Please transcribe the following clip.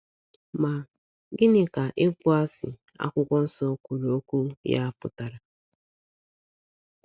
Ma, gịnị ka ‘ ịkpọasị ’ akwụkwọ nso kwuru okwu ya pụtara?